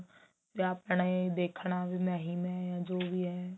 ਆਪਣੇ ਦੇਖਣਾ ਵੀ ਮੈਂ ਹੀ ਮੈਂ ਹਾਂ ਜੋ ਵੀ ਹੈ